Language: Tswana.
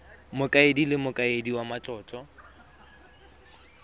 mokaedi le mokaedi wa matlotlo